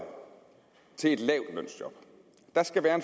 til et lavtlønsjob der skal være